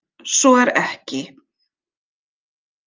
Svo er ekki.